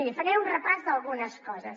miri faré un repàs d’algunes coses